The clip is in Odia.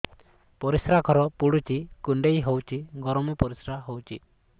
ପରିସ୍ରା ଘର ପୁଡୁଚି କୁଣ୍ଡେଇ ହଉଚି ଗରମ ପରିସ୍ରା ହଉଚି